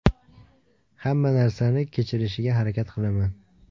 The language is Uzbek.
Hamma narsani kechirishga harakat qilaman.